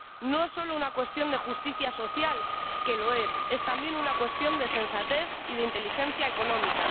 No es solo una cuestión de justicia social —que lo es—, es también una cuestión de sensatez y de inteligencia económica.